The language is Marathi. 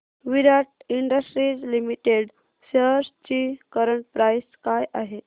विराट इंडस्ट्रीज लिमिटेड शेअर्स ची करंट प्राइस काय आहे